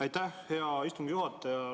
Aitäh, hea istungi juhataja!